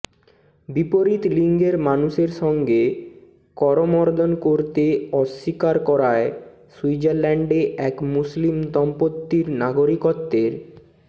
বিপরীত লিঙ্গের মানুষের সঙ্গে করমর্দন করতে অস্বীকার করায় সুইজারল্যান্ডে এক মুসলিম দম্পতির নাগরিকত্বের